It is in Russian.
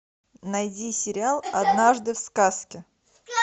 найди сериал однажды в сказке